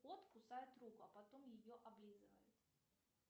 кот кусает руку а потом ее облизывает